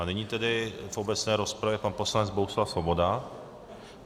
A nyní tedy v obecné rozpravě pan poslanec Bohuslav Svoboda.